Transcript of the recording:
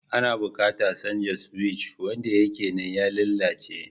Ana buƙatar canza suwic. Wanda yake nan ya lalace